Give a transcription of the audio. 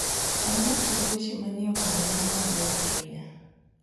tang`na tuke weche manie okang` ma malo ahinya